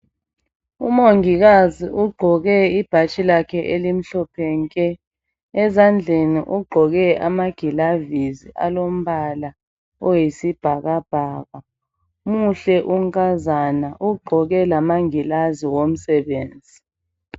Umongikazi ugqoke ibhatshi lakhe elimhlophe nke ezandleni ugqoke amagilavisi alombala oyisibhakabhaka muhle unkazana ugqoke lamangilazi omsebenzi.